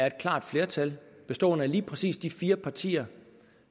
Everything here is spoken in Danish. et klart flertal bestående af lige præcis de fire partier